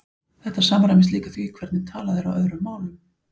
Þetta samræmist líka því hvernig talað er á öðrum málum.